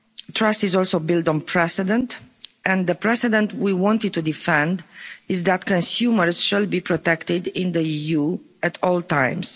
Trust is also built on precedent and the precedent we wanted to defend is that consumers should be protected in the EU at all times.